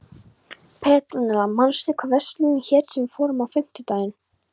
Petrúnella, manstu hvað verslunin hét sem við fórum í á fimmtudaginn?